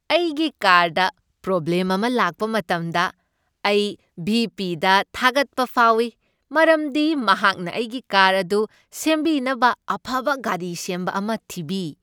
ꯑꯩꯒꯤ ꯀꯥꯔꯗ ꯄ꯭ꯔꯣꯕ꯭ꯂꯦꯝ ꯑꯃ ꯂꯥꯛꯄ ꯃꯇꯝꯗ, ꯑꯩ ꯚꯤ. ꯄꯤ. ꯗ ꯊꯥꯒꯠꯄ ꯐꯥꯎꯏ ꯃꯔꯝꯗꯤ ꯃꯍꯥꯛꯅ ꯑꯩꯒꯤ ꯀꯥꯔ ꯑꯗꯨ ꯁꯦꯝꯕꯤꯅꯕ ꯑꯐꯕ ꯒꯥꯔꯤ ꯁꯦꯝꯕ ꯑꯃ ꯊꯤꯕꯤ꯫